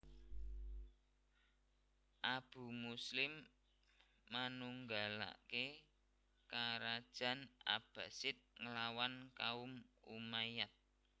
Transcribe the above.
Abu Muslim manunggalaké karajan Abbasid nglawan kaum Umayyad